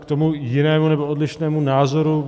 K tomu jinému, nebo odlišnému názoru.